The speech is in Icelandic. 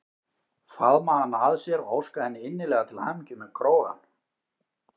Faðma hana að sér og óska henni innilega til hamingju með krógann.